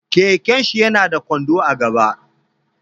Keken shi ya na da kwando a gaba